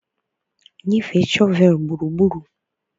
nyefe shọvel gburugburu